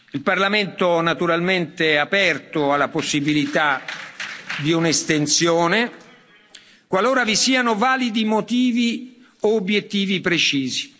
Il Parlamento naturalmente è aperto alla possibilità di un'estensione, qualora vi siano validi motivi o obiettivi precisi.